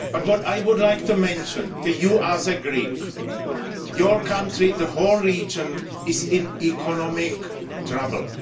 But what I would like to say to you as a Greek is that your country the whole region is in economic trouble.